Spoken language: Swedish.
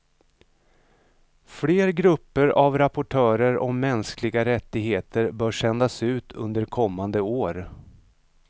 Fler grupper av rapportörer om mänskliga rättigheter bör sändas ut under kommande år.